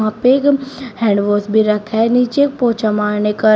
पेगम hand wash भी रखा है नीचे पोछा मारने का--